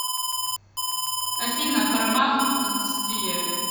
афина парамаунт индустрия